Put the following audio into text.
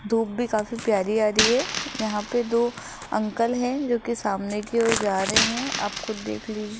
धूप भी काफी प्यारी आ रही है यहां पे दो अंकल है जो कि सामने की ओर जा रहे हैं आप खुद देख लीजिए।